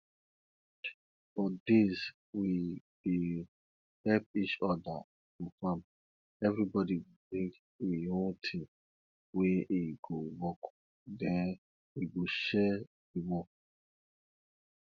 for days we dey help each other for farm everybody go bring e own thing wey e go work then we go share the work